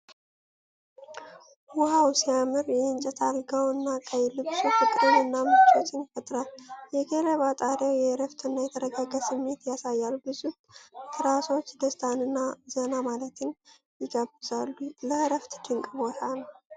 ዋው ሲያምር! የእንጨት አልጋው እና ቀይ ልብሱ ፍቅርን እና ምቾትን ይፈጥራሉ። የገለባ ጣሪያው የእረፍት እና የተረጋጋ ስሜት ያሳያል። ብዙ ትራሶች ደስታን እና ዘና ማለትን ይጋብዛሉ። ለዕረፍት ድንቅ ቦታ ነው።